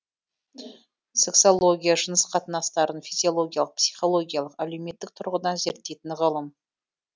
сексология жыныс қатынастарын физиологиялық психологиялық әлеуметтік тұрғыдан зерттейтін ғылым